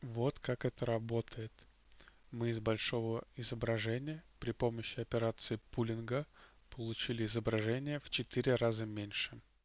вот как это работает мы из большого изображения при помощи операции пулинга получили изображение в четыре раза меньше